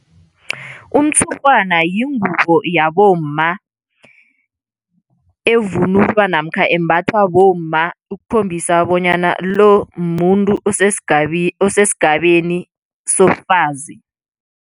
Umtshurhwana yingubo yabomma evunulwa namkha embathwa bomma ukukhombisa bonyana lo, mumuntu osesigabeni sobufazi.